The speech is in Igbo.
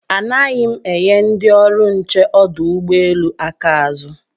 Anaghị m enye ndị ọrụ nche ọdụ ụgbọelu aka azụ